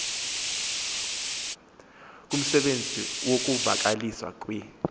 kumsebenzi wokuvakaliswa kwee